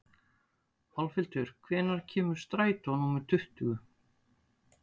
Álfhildur, hvenær kemur strætó númer tuttugu?